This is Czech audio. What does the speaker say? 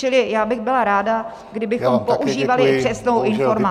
Čili já bych byla ráda, kdybychom používali přesnou informaci.